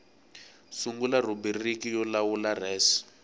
sungula rhubiriki yo lawula res